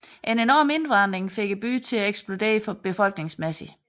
En enorm indvandring fik byen til at eksplodere befolkningsmæssigt